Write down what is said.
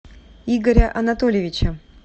игоря анатольевича